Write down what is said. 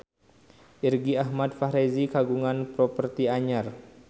Irgi Ahmad Fahrezi kagungan properti anyar